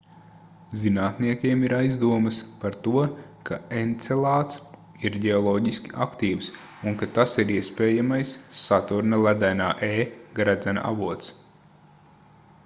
zinātniekiem ir aizdomas par to ka encelāds ir ģeoloģiski aktīvs un ka tas ir iespējamais saturna ledainā e gredzena avots